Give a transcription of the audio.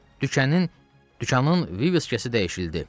Dükanın, dükanın viviskası dəyişdirildi.